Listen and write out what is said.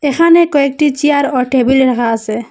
এখানে কয়েকটি চেয়ার ও টেবিল রাখা আসে।